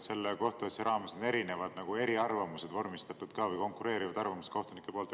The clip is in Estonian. Selle kohtuasja raames on erinevad eriarvamused vormistatud või konkureerivad arvamused kohtunike poolt.